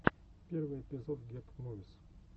первый эпизод гет мувис